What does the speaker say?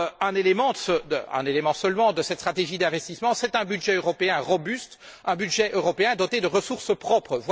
Pareillement, un élément seulement de cette stratégie d'investissement, c'est un budget européen robuste, un budget européen doté de ressources propres.